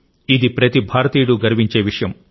ఇది ప్రతి భారతీయుడు గర్వించే విషయం